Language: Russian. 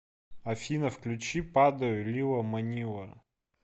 афина включи падаю лила манила